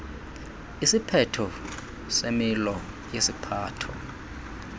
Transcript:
isiphetho semilo yesiphatho